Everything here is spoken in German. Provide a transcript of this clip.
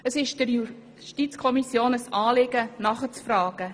Es ist der JuKo ein Anliegen, nachzufragen.